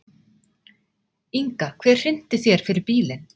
Inga: Hver hrinti þér fyrir bílinn?